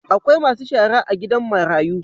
Akwai Masu shara a gidan marayu.